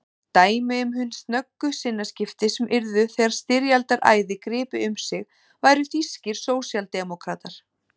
Dæmi um hin snöggu sinnaskipti sem yrðu þegar styrjaldaræði gripi um sig væru þýskir sósíaldemókratar.